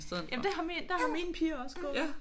Jamen det har der har mine piger jo også gået